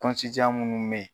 minnu bɛ yen